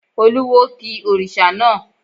Olúwo ki òrìṣà náà.